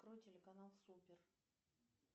открой телеканал супер